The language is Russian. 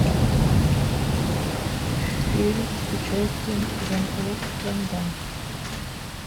фильм с участием жан клод ванн дамм